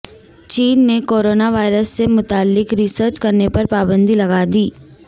چین نے coronavirus سے متعلق ریسرچ کرنے پر پابندی لگادی